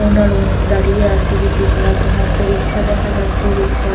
ওনারও দাঁড়িয়ে আছে বিক্রি করার জন্য একটা রিকশা দেখা যাচ্ছে রিকশার --